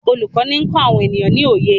olùkó ní nkọ àwọn ènìyàn ní oyé